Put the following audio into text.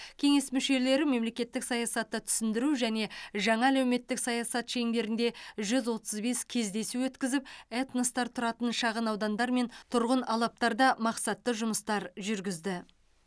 кеңес мүшелері мемлекеттік саясатты түсіндіру және жаңа әлеуметтік саясат шеңберінде жүз отыз бес кездесу өткізіп этностар тұратын шағынаудандар мен тұрғын алаптарда мақсатты жұмыстар жүргізді